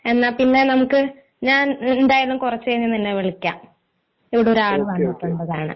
എന്നാ പിന്നെ നമുക്ക് ഞാൻ എന്തായാലും കുറച്ചു കഴിഞ്ഞ് നിന്നെ വിളിക്കാം ഇവിടെ ഒരാള് വന്നിട്ടുണ്ട് അതാണ്